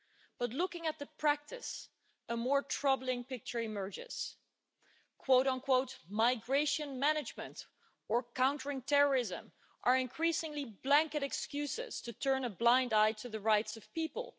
But looking at the practice, a more troubling picture emerges migration management' or countering terrorism' are increasingly blanket excuses to turn a blind eye to the rights of people.